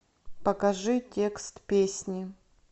покажи текст песни